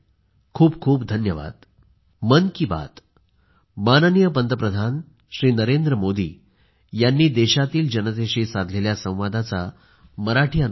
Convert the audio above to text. खूप खूप धन्यवाद